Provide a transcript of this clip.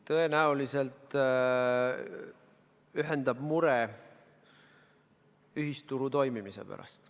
Tõenäoliselt ühendab mure ühisturu toimimise pärast.